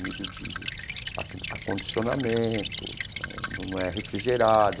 Nível de acondicionamento né, não é refrigerado,